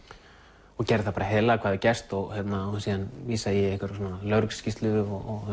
og gerði það bara heiðarlega hvað gerst og vísaði í lögregluskýrslu